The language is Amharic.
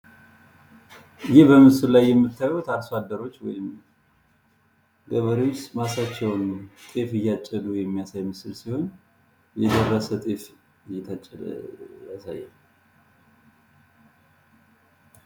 ይህ በምስሉ ላይ የምታዩት አርሶ አደሮች ወይም ገበሬዎች ማሳቸውን ጤፍ እያጨዱ የሚያሳይ ምስል ሲሆን የደረሰ ጤፍ እየታጨደ ያሳያል።